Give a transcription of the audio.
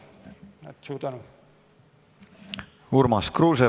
Urmas Kruuse, palun!